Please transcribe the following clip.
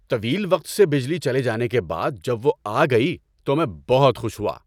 طویل وقت سے بجلی چلی جانے کے بعد جب وہ آ گئی تو میں بہت خوش ہوا۔